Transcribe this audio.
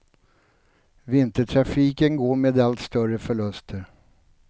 Vintertrafiken går med allt större förluster.